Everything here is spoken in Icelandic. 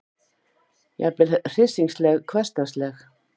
Jafnvel hryssingsleg, hversdagsleg.